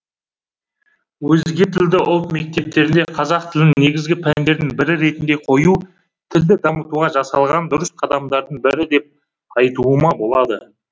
өзге тілді ұлт мектептеріне қазақ тілін негізгі пәндердің бірі ретінде қою тілді дамытуға жасалған дұрыс қадамдардың бірі деп айтуыма болады